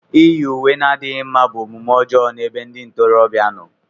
Íyì uwe na-adịghị mma bụ omume ọjọọ n'ebe ndị ntorobịa nọ.